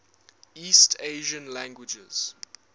east asian languages